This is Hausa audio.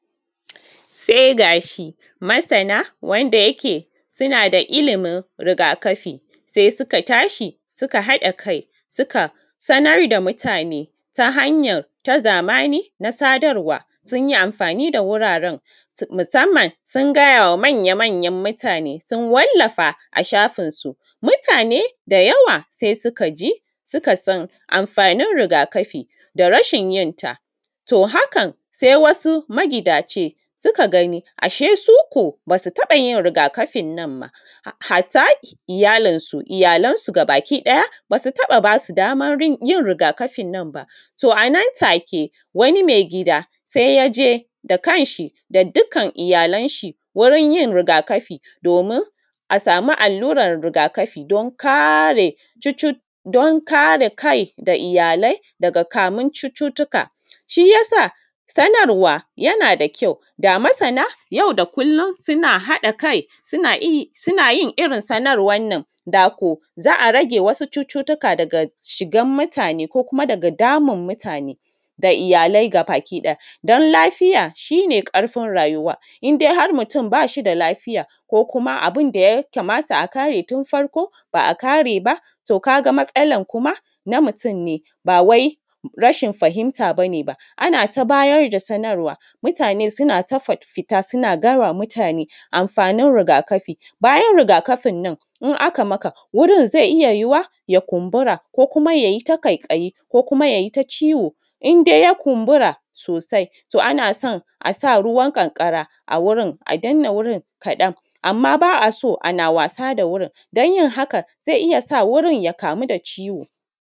Sai gashi masana wa’yande suke suna da ilimin rigakafi sai suka tashi suka haɗa kai suka sanar da mutane ta hanyar ta zamani na sadarwa sun yi amfani da wuraren musamman sun gayawa manya-manyan mutane sun wallafa a shafinsu mutane da yawa sai suka ji suka san amfanin rigakafi da rashin yin ta. To, hakan sai wasu magidace suka gani ashe dai suko ba su taɓa yin rigakafin nan ba, hatta iyalansu gabakiɗaya ba su taɓa ba su daman yin rigakafin nan ba. To, a nantake wani mai gida sai ya je da kan shi da dukkan iyalan shi wurin yin rigakafi domin a samu allurar rigakafi dan kare kai da iyalai daga kamun cututtuka, shi ya sa sanarwa yana da kyau da masana yau da kullum suna haɗa kai suna yin irin sanarwan da ko za a rage wasu cututtuka daga shigar mutane ko kuma daga damun mutane da iyalai gabakiɗaya. Dan lafiya shi ne ƙarfin rayuwa indai har mutum ba shi da lafiya ko kuma abun da ya kamata a kare tun farko ba a kare ba to ka ga matsalan kuma na mutum ne ba wai rashin fahimtar abu ne ba. Ana ta bayar da sanarwa mutane suna ta fita suna gayawa mutane amfanin rigakafi, bayan rigakafin nan in aka maka wurin zai iya yuwuwa ya kumbura ko kuma ya yi ta ƙaiƙayi ko kuma ya yi ta ciwo in dai ya kumbura sosai to ana san a sa ruwan ƙanƙara a wurin a danne wurin kaɗan, amma ba a so ana wasa da wurin dan yin haka zai iya sa wurin ya kamu da ciwo.